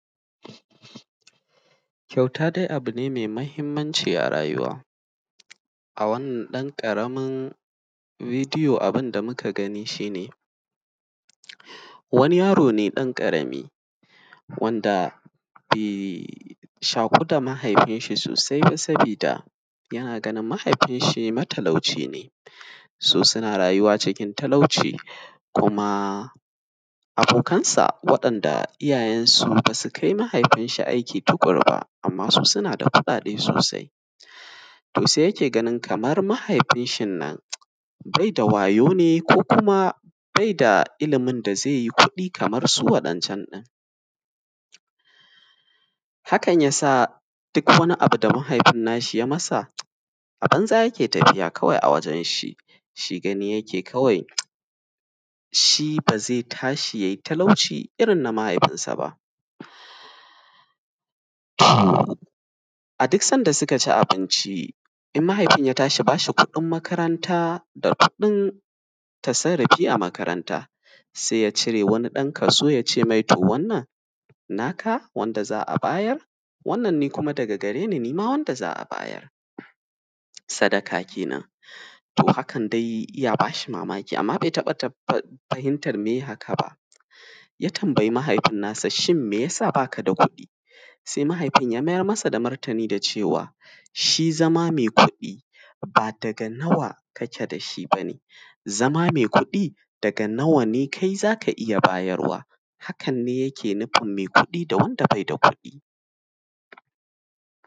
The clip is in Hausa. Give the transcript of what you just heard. Kyauta dai abu ne me mahinmanci a rayuwa, a wannan ƙaramin bidiyo abun da muka gani shi ne wani yaro ne ɗan ƙarami wanda bai shaƙu da mahaifin shi sosai ba sabida yana ganin mahaifin shi matalauci ne. su wasu an rayuwa cikin talauci kuma abokansa wanda iyayensu suke kai su aiki amma su suna da kuɗaɗe sosai amma kamar yadda yake gani mahaifin shin nan be da wayau ne ko kuma beda ilimin da ze yi kuɗi kaman su waɗancan ɗin, hakan ya sa duk wani abu da mahaifin na shi ya yi masa a banza kawai yake tafiya a wajen shi. Shi gani kawai yake shi ba zai tashi yanayi talauci irin na mahaifinsa ba, a duk lokacin da suka ci abinci in mahaifin ya tashi bashi kuɗin makaranta san, a tafiya makaranta ze cire ɗan wani kaso ya ce to, wannan naka, wanna ne daga gare ni, nima wanda za a bayar sadaka kenan to hakan dai ya ba shi mamaki. Amma dai be taɓa fahimtan me ye haka ba ya tambayi mahaifin nasa shin me yasa baka da kuɗi? Se mahaifin ya mayarmasa da martani da cewa shi zama me kuɗi ba daga nawa kake da shi ba, zama me kuɗi daga nawa ne za ka iya bayarwa, to hakan ne yake nufin me kuɗi da wanda beda kuɗi.